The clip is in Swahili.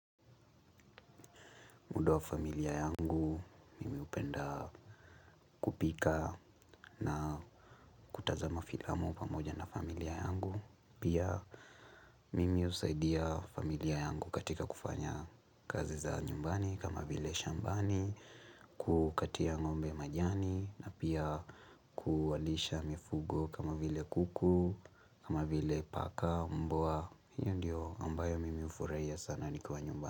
Muda wa familia yangu hupenda kupika na kutazama filamu pamoja na familia yangu. Pia mimi husaidia familia yangu katika kufanya kazi za nyumbani kama vile shambani, kukatia ngombe majani na pia kuwalisha mifugo kama vile kuku, kama vile paka, mbwa. Hio ndio ambayo mimi hufurahia sana nikiwa nyumbani.